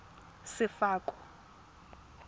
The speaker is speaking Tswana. sefako